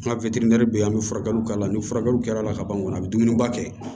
An ka bɛ yen an bɛ furakɛliw k'a la ni furakɛliw kɛra la ka ban a bɛ dumuniba kɛ